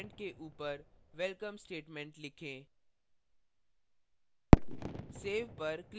return statement के ऊपर welcome statement लिखें